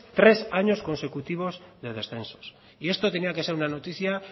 tres años consecutivos de descensos y esto tenía que ser una noticia